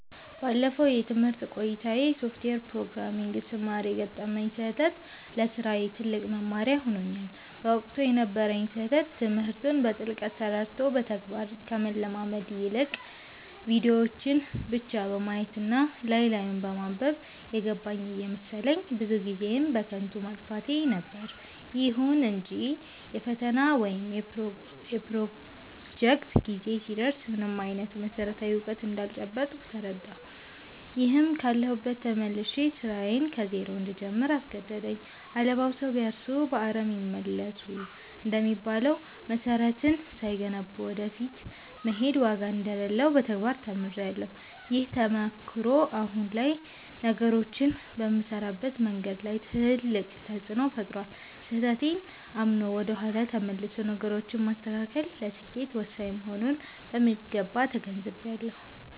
ባለፈው የትምህርት ቆይታዬ የሶፍትዌር ፕሮግራሚንግን ስማር የገጠመኝ ስህተት ለስራዬ ትልቅ መማሪያ ሆኖኛል። በወቅቱ የነበረኝ ስህተት ትምህርቱን በጥልቀት ተረድቶ በተግባር ከመለማመድ ይልቅ፣ ቪዲዮዎችን ብቻ በማየት እና ላይ ላዩን በማንበብ 'የገባኝ' እየመሰለኝ ብዙ ጊዜዬን በከንቱ ማጥፋቴ ነበር። ይሁን እንጂ የፈተና ወይም የፕሮጀክት ጊዜ ሲደርስ ምንም አይነት መሰረታዊ እውቀት እንዳልጨበጥኩ ተረዳሁ፤ ይህም ካለሁበት ተመልሼ ስራዬን ከዜሮ እንድጀምር አስገደደኝ።' አለባብሰው ቢያርሱ በአረም ይመለሱ' እንደሚባለው፣ መሰረትን ሳይገነቡ ወደ ፊት መሄድ ዋጋ እንደሌለው በተግባር ተምሬያለሁ። ይህ ተሞክሮ አሁን ላይ ነገሮችን በምሰራበት መንገድ ላይ ትልቅ ተፅእኖ ፈጥሯል። ስህተቴን አምኖ ወደ ኋላ ተመልሶ ነገሮችን ማስተካከል ለስኬት ወሳኝ መሆኑንም በሚገባ ተገንዝቤያለሁ።